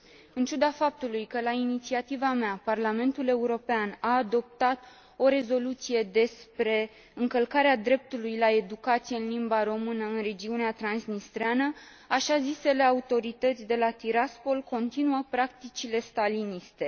În ciuda faptului că la inițiativa mea, Parlamentul European a adoptat o rezoluție despre încălcarea dreptului la educație în limba română în regiunea transnistreană, așa zisele autorități de la Tiraspol continuă practicile staliniste.